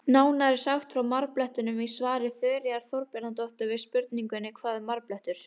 Nánar er sagt frá marblettum í svari Þuríðar Þorbjarnardóttur við spurningunni Hvað er marblettur?